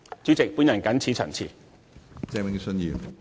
主席，我謹此陳辭。